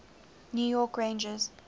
new york rangers